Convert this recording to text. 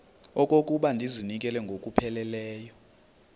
okokuba ndizinikele ngokupheleleyo